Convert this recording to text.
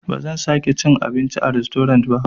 Bazan sake cin abinci a rastorant ba.